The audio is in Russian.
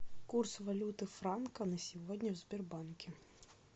курс валюты франка на сегодня в сбербанке